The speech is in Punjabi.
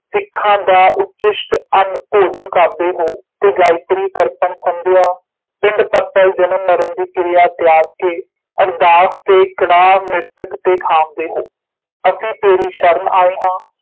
ਸਿਖਾਂ ਦਾ ਉਚਿਸ਼ਟ ਅੰਨ ਭੋਜਨ ਕਰਦੇ ਹੋ ਤੇ ਗਾਇਤ੍ਰੀ ਤਰਪਣ ਸੰਧਿਆ ਪਿੰਡ ਪੱਤਲ ਜਨਮ ਮਰਨ ਦੀ ਕਿਰਿਆ ਤਿਆਗ ਕੇ ਅਰਦਾਸ ਤੇ ਕੜਾਹੁ ਮ੍ਰਿਤਕ ਤੇ ਖਾਂਵਦੇ ਹੋ ਅਸੀਂ ਤੇਰੀ ਸ਼ਰਨ ਆਇ ਹਾਂ